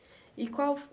E qual